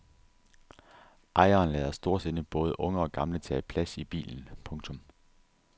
Ejeren lader storsindet både unge og gamle tage plads i bilen. punktum